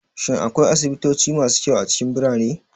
Shin akwai asibitoci masu kyau a cikin birane?